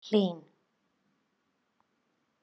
Hlín